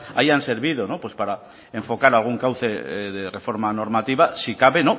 hayan servido no pues para enfocar algún cauce de reforma normativa si cabe